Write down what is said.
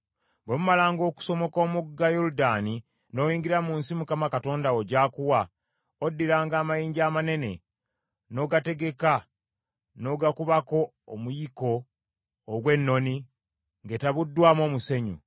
Bwe mumalanga okusomoka omugga Yoludaani n’oyingira mu nsi Mukama Katonda wo gy’akuwa, oddiranga amayinja amanene n’ogategeka n’ogakubako omuyiko ogw’ennoni ng’etabuddwamu omusenyu.